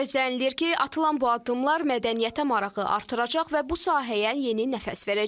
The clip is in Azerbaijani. Gözlənilir ki, atılan bu addımlar mədəniyyətə marağı artıracaq və bu sahəyə yeni nəfəs verəcək.